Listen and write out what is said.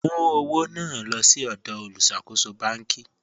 Mú ọwọ̀ náà lọ̀ sí ọdọ̀ olúṣàkóṣọ̀ bánk.